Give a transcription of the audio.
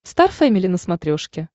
стар фэмили на смотрешке